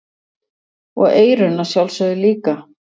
Og eyrun að sjálfsögðu líka.